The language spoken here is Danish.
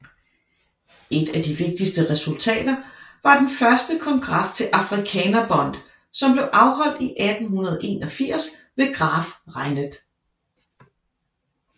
Et af de vigtigste resultater var den første kongres til Afrikaner Bond som blev afholdt i 1881 ved Graaf Reinet